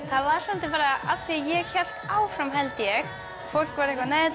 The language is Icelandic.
það var svolítið bara af því að ég hélt áfram held ég fólk var eitthvað nei